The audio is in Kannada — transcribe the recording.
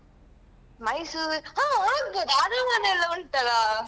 ಮೈಸೂರ್ ಹ ಅಗ್ಬೋದು ಅರಮನೆಯಲ್ಲ ಉಂಟಲ್ಲಾ?